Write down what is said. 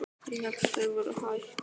Ég hélt að þau væru hætt.